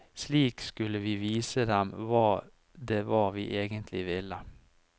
Slik skulle vi vise dem hva det var vi egentlig ville.